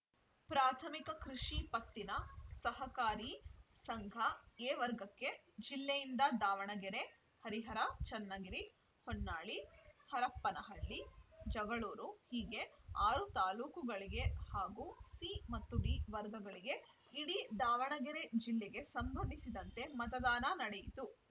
ಪ್ರಾಥಮಿಕ ಕೃಷಿ ಪತ್ತಿನ ಸಹಕಾರಿ ಸಂಘಎ ವರ್ಗಕ್ಕೆ ಜಿಲ್ಲೆಯಿಂದ ದಾವಣಗೆರೆ ಹರಿಹರ ಚನ್ನಗಿರಿ ಹೊನ್ನಾಳಿ ಹರಪನಹಳ್ಳಿ ಜಗಳೂರು ಹೀಗೆ ಆರು ತಾಲೂಕುಗಳಿಗೆ ಹಾಗೂ ಸಿ ಮತ್ತು ಡಿ ವರ್ಗಗಳಿಗೆ ಇಡೀ ದಾವಣಗೆರೆ ಜಿಲ್ಲೆಗೆ ಸಂಬಂಧಿಸಿದಂತೆ ಮತದಾನ ನಡೆಯಿತು